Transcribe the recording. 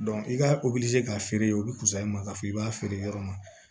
i ka k'a feere yen olu bɛ kusaya ma k'a fɔ i b'a feere yɔrɔ ma